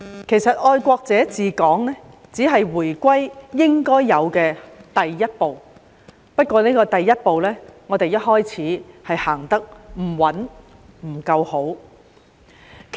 其實"愛國者治港"只是回歸應有的第一步，但我們一開始時行出的第一步，行得不穩、行得不夠好。